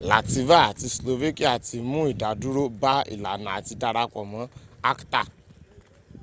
latvia àti slovakia ti mún ìdádúró bá ìlànà àti darapọ̀ mọ́ acta